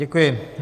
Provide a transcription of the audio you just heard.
Děkuji.